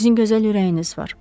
Sizin gözəl ürəyiniz var.